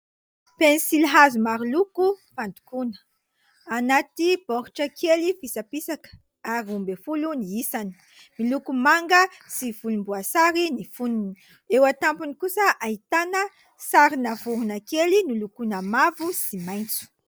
Pensilihazo maro loko fandokoana. Anaty baoritra kely fisapisaka ary roa ambin'ny folo ny isany. Miloko manga sy volomboasary ny fonony. Eo an-tampony kosa ahitana sarina vorona kely nolokoina mavo sy maitso.